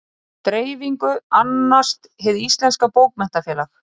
Dreifingu annast Hið íslenska bókmenntafélag.